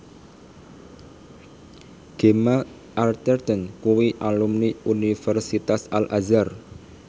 Gemma Arterton kuwi alumni Universitas Al Azhar